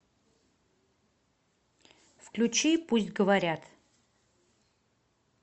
включи пусть говорят